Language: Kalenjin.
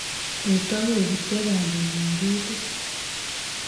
Kotoi kobutyo bandek eng' kitit